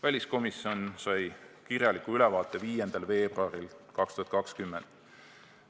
Väliskomisjon sai kirjaliku ülevaate 5. veebruaril 2020.